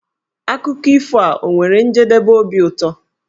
Akụkọ ifo a ọ nwere njedebe obi ụtọ?